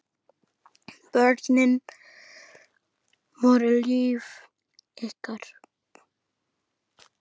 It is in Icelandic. Börnin voru líf ykkar.